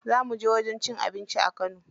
Za mu je wajen cin abinci a kano.